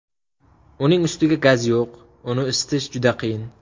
Uning ustiga gaz yo‘q, uyni isitish juda qiyin.